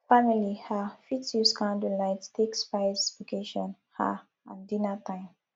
family um fit use candle light take spice occassion um and dinner time